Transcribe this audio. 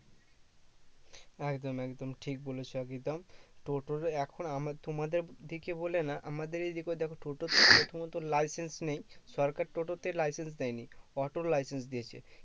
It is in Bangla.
একদম একদম ঠিক বলেছো টোটোর এখন আমার তোমাদের দিকে বলে না আমাদের এদিকেও দেখো টোটো প্রথমত license নেই সরকার টোটোতে license দেয় নি অটোর license দিয়েছে